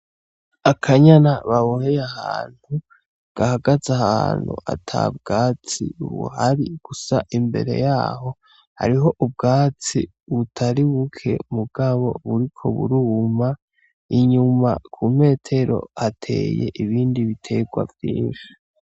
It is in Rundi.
Akanyana baboheye ahantu gahagaze ahantu atabwatsi buhari, gusa imbere yaho hariho ubwatsi butari buke mugabo buriko buruma, inyuma ku metero hateye ibindi biterwa vyinshi.